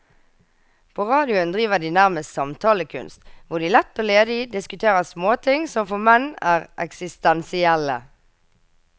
På radioen driver de nærmest samtalekunst, hvor de lett og ledig diskuterer småting som for menn er eksistensielle.